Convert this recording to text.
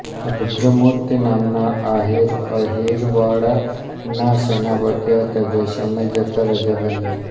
રુદ્રમૂર્તિ નામક આહીર અહીરવાળાનાં સેનાપતિ હતા જે સમય જતાં રાજા બન્યાં